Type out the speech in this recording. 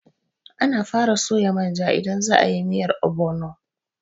Ana fara soya manja idan za a yi miyar ogbono.